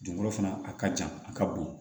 Dugukolo fana a ka jan a ka bon